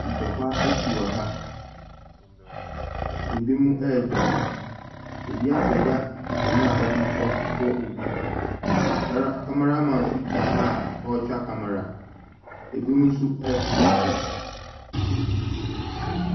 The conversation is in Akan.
Ntɔkwa asi wɔ ha. Ɛbi mo ɛɛdwane. Obi apagya akonnwa a ɔde ɛɛkɔbɔ obi . Kameraman nso gyina ha a ɔɔtwa kamera. Ɛbi mo nso ɛɛtotɔ fam.